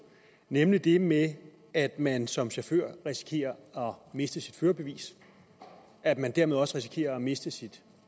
nemlig det med at man som chauffør risikerer at miste sit førerbevis at man dermed også risikerer at miste sit